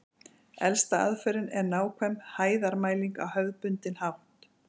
Elsta aðferðin er nákvæm hæðarmæling á hefðbundinn hátt.